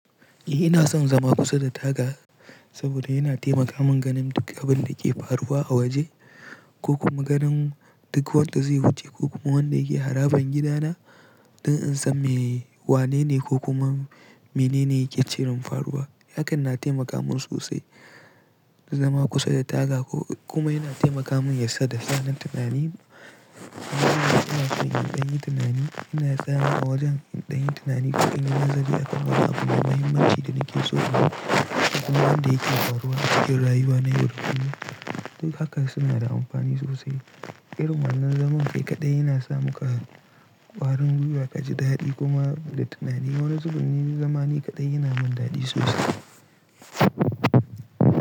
Eh ina son zama kusa da taga saboda yana taimaka min ganin duk abin da ke faruwa a waje ko kuma ganin duk wanda zai wuce ko kuma wanda yake harabar gidana don in san me wanene ko kuma menene yake cire faruwa. Hakan na taimaka min sosai zama kusa da taga ko kuma yana taimaka min yadda sa nan tunani. Ina koyon ɗanyin tunani, ina tsayawa a wajen ɗanyin tunani duk in na nazari akan wahaku da muhimmanci da nake so inyi kuma abin da yake faruwa, acikin rayuwa na yau da kullun. Duk haka suna da amfani sosai. Irin wannan zaman kai kaɗai yana sa mu kawarin guiwa, kajidari kuma lita. Tunanin wannan zurfin zamani kaɗai yana min daɗi sosai.